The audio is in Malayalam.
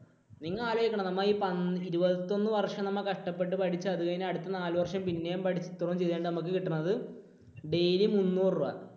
നിങ്ങൾ ആലോചിക്കണം നമ്മൾ ഈ പന്ത ഇരുപത്തൊന്നു വർഷം നമ്മൾ കഷ്ടപ്പെട്ട് പഠിച്ചു. അതുകഴിഞ്ഞ് അടുത്ത നാലു വർഷം പിന്നെയും പഠിച്ചു. എന്നിട്ട് അതുകഴിഞ്ഞിട്ട് നമുക്ക് കിട്ടുന്നത് daily മുന്നൂറു രൂപ.